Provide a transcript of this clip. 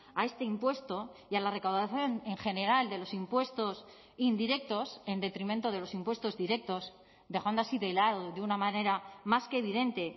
a este impuesto y a la recaudación en general de los impuestos indirectos en detrimento de los impuestos directos dejando así de lado de una manera más que evidente